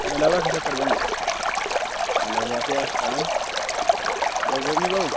kan alaabaa keessatti argamudha. Alaabaa fi asxaan gargar ni bahuu?